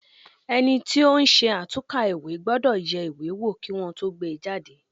Ẹni tí ó ń ṣe àtúnkà ìwé gbọ́dọ̀ yẹ ìwé wo kí Wọ́n tó gbé e jáde.